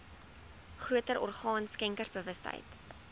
groter orgaan skenkersbewustheid